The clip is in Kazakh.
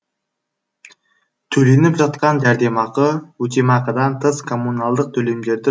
төленіп жатқан жәрдемақы өтемақыдан тыс коммуналдық төлемдерді